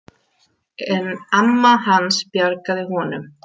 En amma hans bjargaði honum.